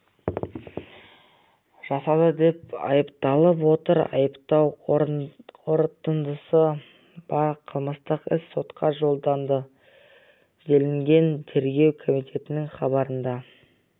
жасады деп айыпталып отыр айыптау қорытындысы бар қылмыстық іс сотқа жолданды делінген тергеу комитетінің хабарында